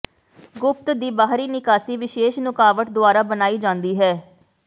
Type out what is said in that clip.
ਗੁਪਤ ਦੀ ਬਾਹਰੀ ਨਿਕਾਸੀ ਵਿਸ਼ੇਸ਼ ਨੁਕਾਵਟ ਦੁਆਰਾ ਬਣਾਈ ਜਾਂਦੀ ਹੈ